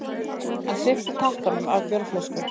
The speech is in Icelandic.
Hann svipti tappanum af bjórflösku.